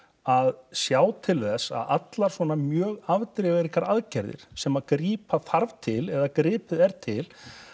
að sjá til þess að allar svona mjög afdrifaríkar aðgerðir sem að grípa þarf til eða gripið er til